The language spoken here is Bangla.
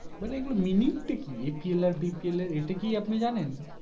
মানে এইগুলোর Meaning টা কি APL আর BPL এর এটা কি আপনি জানেন